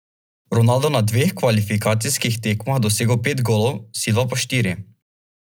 Ronaldo na dveh kvalifikacijskih tekmah dosegel pet golov, Silva pa štiri.